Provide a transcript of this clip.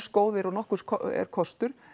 góðir og nokkurs er kostur